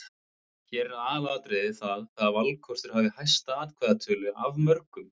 Hér er aðalatriðið það hvaða valkostur hafi hæsta atkvæðatölu af mörgum.